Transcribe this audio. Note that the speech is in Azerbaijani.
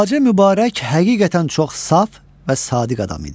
Xacə Mübarək həqiqətən çox saf və sadiq adam idi.